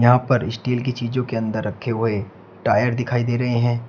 यहां पर स्टील की चीजों के अंदर रखे हुऎ टायर दिखाई दे रहे है।